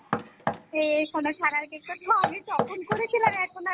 এ সোনা ছানার cake তা তো আমি তখন করেছিলাম এখন আর